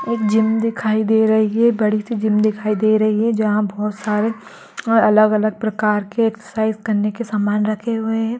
एक जिम दिखाई दे रही है | बड़ी सी जिम दिखाई दे रही है जहाँ बहुत सारे और अलग अलग प्रकार के एक्सरसाइज करने के सामान रखे हुए हैं ।